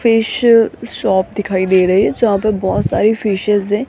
Fish shop दिखाई दे रही हैं जहां पे बहोत सारी फिशेस हैं।